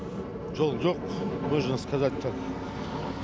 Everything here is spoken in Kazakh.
жол жоқ можно сказать так